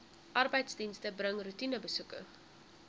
arbeidsdienste bring roetinebesoeke